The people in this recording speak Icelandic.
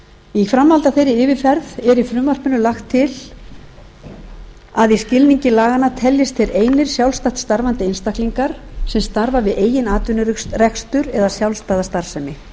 í framhaldi af þeirri yfirferð er í frumvarpinu lagt til að í skilningi laganna teljast þeir einir sjálfstætt starfandi einstaklingar sem starfa við eigin atvinnurekstur eða sjálfstæða starfsemi